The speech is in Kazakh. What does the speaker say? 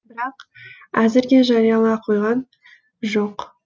бірақ әзірге жариялана қойған жоқ